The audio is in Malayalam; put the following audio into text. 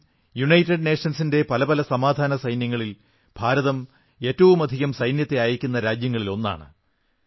ഇന്നും യുണൈറ്റഡ് നേഷൻസിന്റെ പല സമാധാന സേനകളിൽ ഭാരതം ഏറ്റവുമധികം സൈന്യത്തെ അയയ്ക്കുന്ന രാജ്യങ്ങളിലൊന്നാണ്